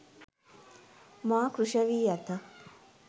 මා කෘෂ වී ඇත